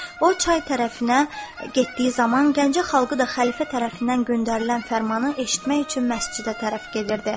O çay tərəfinə getdiyi zaman Gəncə xalqı da xəlifə tərəfindən göndərilən fərmanı eşitmək üçün məscidə tərəf gedirdi.